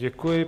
Děkuji.